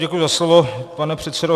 Děkuji za slovo, pane předsedo.